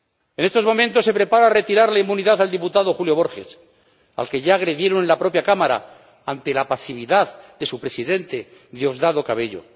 En estos momentos se prepara retirar la inmunidad al diputado Julio Borges, al que ya agredieron en la propia Cámara ante la pasividad de su Presidente, Diosdado Cabello.